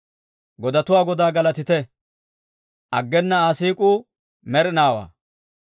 Godatuwaa Godaa galatite! Aggena Aa siik'uu med'inaawaa.